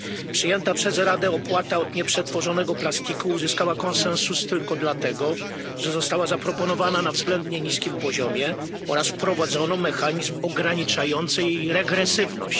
Przyjęta przez Radę opłata od nieprzetworzonego plastiku uzyskała konsensus tylko dlatego, że została zaproponowana na względnie niskim poziomie oraz wprowadzono mechanizm ograniczający jej regresywność.